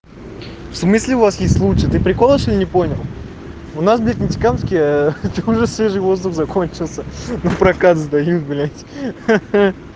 в смысле у вас есть лучше ты прикол что ли не понял у нас блядь в нефтекамске уже свежий воздух закончился напрокат сдают блядь ха-ха